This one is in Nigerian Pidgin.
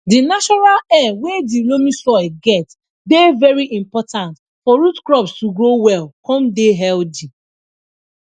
di natural air wey dey loamy soil get dey very important for root crops to grow well con dey healthy